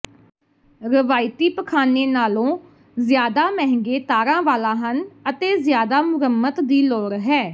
ਰਵਾਇਤੀ ਪਖਾਨੇ ਨਾਲੋਂ ਜ਼ਿਆਦਾ ਮਹਿੰਗੇ ਤਾਰਾਂ ਵਾਲਾਂ ਹਨ ਅਤੇ ਜ਼ਿਆਦਾ ਮੁਰੰਮਤ ਦੀ ਲੋੜ ਹੈ